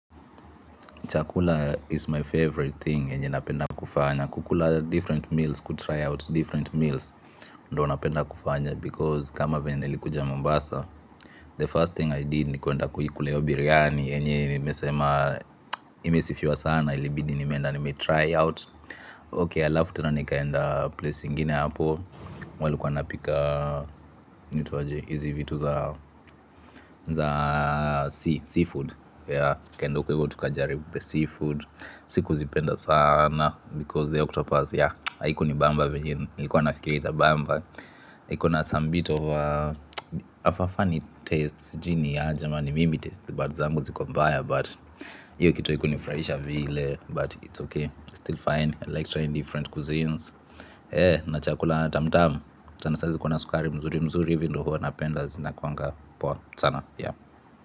Chakula is my favorite thing yenye napenda kufanya kukula different meals kutry out different meals ndo napenda kufanya because kama venye nilikuja Mombasa. The first thing I did ni kuenda kuikula biryani yenye nimesema imesifiwa sana ilibidi nimeenda nime try out. Okay alafu tena nikaenda place ingine hapo. Walikuwa napika inaitwa aje hizi vitu za seafood ya tukaenda huko tukajaribu the seafood sikuzipenda sana because the octopus ya haiku ni bamba venye nilikuwa nafikiria itabamba ikona some bit of a hafa funny tastes sjui ni aje ama ni mimi taste buds zangu ziko mbaya but hiyo kito haiku nifurahisha vile but it's okay still fine like trying different cuisines eeh na chakula tamu tamu sana sana ziko na sukari mzuri mzuri hivi ndo huwa napenda zinakwanga poa sana yeah.